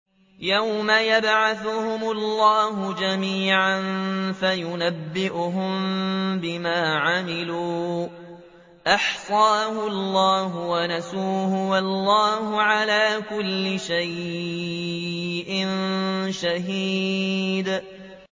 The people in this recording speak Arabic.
يَوْمَ يَبْعَثُهُمُ اللَّهُ جَمِيعًا فَيُنَبِّئُهُم بِمَا عَمِلُوا ۚ أَحْصَاهُ اللَّهُ وَنَسُوهُ ۚ وَاللَّهُ عَلَىٰ كُلِّ شَيْءٍ شَهِيدٌ